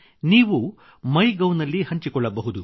ನೀವು MyGov ನಲ್ಲಿ ಹಂಚಿಕೊಳ್ಳಬಹುದು